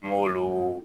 N m'olu